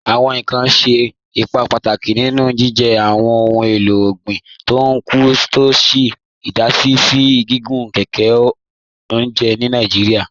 Awọn ìkàn ṣẹ̀ ìpà pátákì nínú jìjẹ́ awọn ohun èlò ọ̀gbin tó ń kú, tó ṣè idàsí sí gígùn kẹkẹ ọ̀njẹ̀ ni Nàìjíríà.